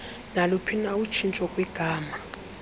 naluphina utshintsho kwigama